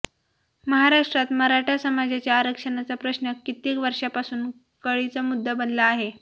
महाराष्ट्रात मराठा समाजाच्या आरक्षणाचा प्रश्न कित्येक वर्षांपासून कळीचा मुद्दा बनला आहे